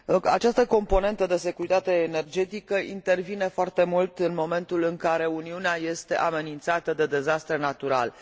Această componentă de securitate energetică intervine foarte mult în momentul în care Uniunea este amenințată de dezastre naturale.